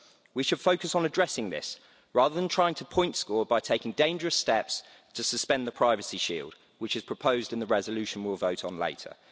We should focus on addressing this, rather than trying to point score by taking dangerous steps to suspend the privacy shield which is proposed in the resolution we will vote on later.